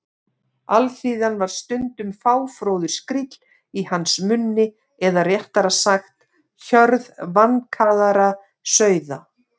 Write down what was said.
Alþýðan var stundum fáfróður skríll í hans munni eða réttara sagt: hjörð vankaðra sauða.